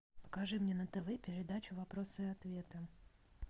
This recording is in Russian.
покажи мне на тв передачу вопросы и ответы